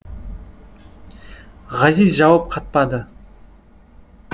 ғазиз жауап қатпады